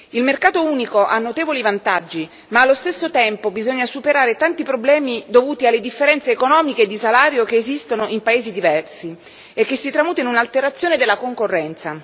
Il mercato unico ha notevoli vantaggi, ma allo stesso tempo bisogna superare tanti problemi dovuti alle differenze economiche e di salario che esistono in paesi diversi e che si tramutano in un'alterazione della concorrenza.